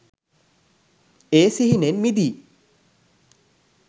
ඒ සිහිනෙන් මිදී